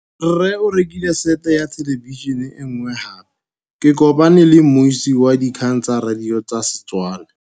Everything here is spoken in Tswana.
Rre o rekile sete ya thêlêbišênê e nngwe gape. Ke kopane mmuisi w dikgang tsa radio tsa Setswana.